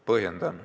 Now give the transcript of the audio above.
Põhjendan.